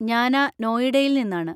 ഞാനാ നോയിഡയിൽ നിന്നാണ്.